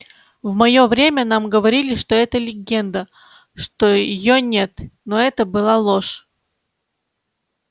в моё время нам говорили что это легенда что её нет но это была ложь